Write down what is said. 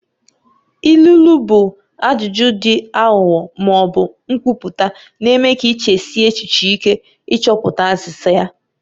Ilu ilu bụ ajụjụ dị aghụghọ ma ọ bụ nkwupụta na-eme ka ị chesie echiche ike ịchọpụta azịza ya.